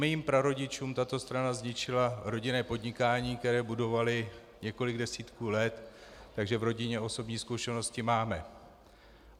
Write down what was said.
Mým prarodičům tato strana zničila rodinné podnikání, které budovali několik desítek let, takže v rodině osobní zkušenosti máme.